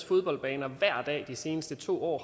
fodboldbaner hver dag de seneste to år